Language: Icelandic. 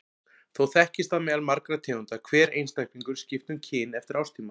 Þó þekkist það meðal margra tegunda að hver einstaklingur skipti um kyn eftir árstíma.